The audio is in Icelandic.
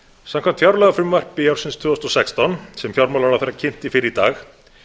samkvæmt fjárlagafrumvarpi ársins tvö þúsund og sextán sem fjármálaráðherra kynnti fyrr í dag